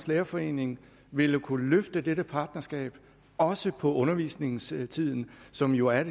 lærerforening ville kunne løfte dette partnerskab også på undervisningstiden som jo er